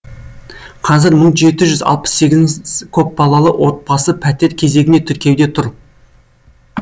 қазір мың жеті жүз көпбалалы отбасы пәтер кезегіне тіркеуде тұр